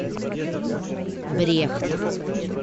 брехт